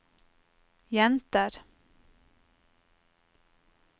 jenter